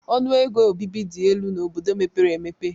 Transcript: Ọnụ ego obibi dị elu n'obodo mepere emepe.